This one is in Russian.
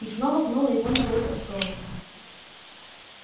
и снова пнула его ногой под стол